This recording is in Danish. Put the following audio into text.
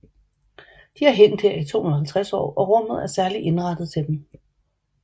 De har hængt her i 250 år og rummet er særligt indrettet til dem